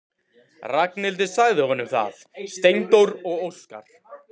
Ragnhildur sagði honum það: Steindór og Óskar.